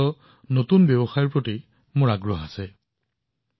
স্বাস্থ্যখণ্ড আৰু বিশেষকৈ আয়ুষ ষ্টাৰ্টআপৰ ওপৰতো মই গুৰুত্ব দিছো